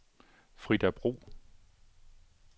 Frida Bro